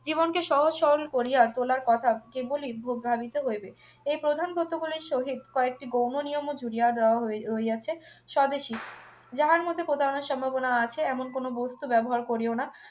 জীবনকে সহজসরল করিয়া তোলার কথা কেবলই প্রভাবিত হইবে এই প্রধান ব্রত গুলির সহিত কয়েকটি গৌণ নিয়ম ও জুড়িয়া দেওয়া হই হইয়াছে স্বদেশী যাহার মধ্যে প্রতারণা সম্ভাবনা আছে এমন কোন বস্তু ব্যবহার করিও না